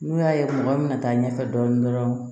N'u y'a ye mɔgɔ min na taa ɲɛfɛ dɔɔnin dɔrɔn